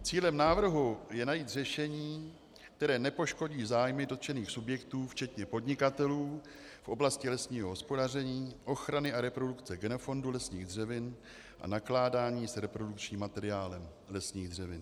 Cílem návrhu je najít řešení, které nepoškodí zájmy dotčených subjektů včetně podnikatelů v oblasti lesního hospodaření, ochrany a reprodukce genofondu lesních dřevin a nakládání s reprodukčním materiálem lesních dřevin.